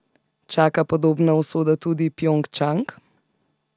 Čaka podobna usoda tudi Pjongčang?